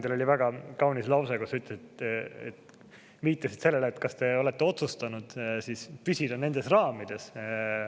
Teil oli väga kaunis lause, millega te viitasite sellele, et me oleme otsustanud püsida nendes raamides.